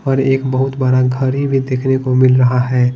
पर एक बहुत बड़ा घरी भी देखने को मिल रहा है।